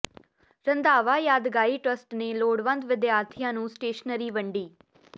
ਰੰਧਾਵਾ ਯਾਦਗਾਰੀ ਟਰੱਸਟ ਨੇ ਲੋੜਵੰਦ ਵਿਦਿਆਰਥੀਆਂ ਨੂੰ ਸਟੇਸ਼ਨਰੀ ਵੰਡੀ